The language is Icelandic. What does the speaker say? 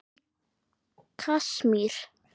Í Kasmír